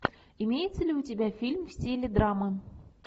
имеется ли у тебя фильм в стиле драмы